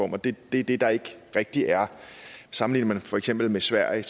det er det der ikke rigtig er sammenligner man for eksempel med sverige